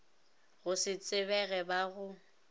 go se tsebege ba go